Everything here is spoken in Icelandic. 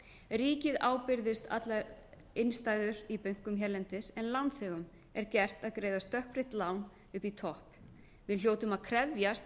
ríkið ábyrgðist allar innstæður í bönkum hérlendis en lánþegum er gert að greiða stökkbreytt lán upp í topp við hljótum að krefjast